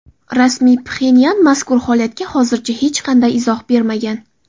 Rasmiy Pxenyan mazkur holatga hozircha hech qanday izoh bermagan.